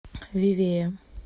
вивея